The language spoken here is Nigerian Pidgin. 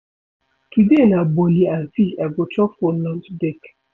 Today na bole and fish I go chop for lunch break.